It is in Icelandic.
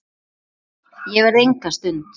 Ég verð enga stund!